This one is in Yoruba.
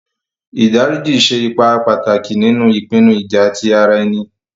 Ìdá ríjí ṣè èípà pátákì nínu ìpìnnú ìjà̀ tí ara ènì.